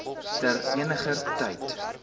ter eniger tyd